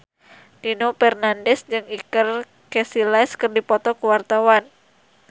Nino Fernandez jeung Iker Casillas keur dipoto ku wartawan